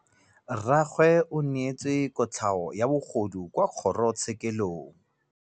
Rragwe o neetswe kotlhaô ya bogodu kwa kgoro tshêkêlông.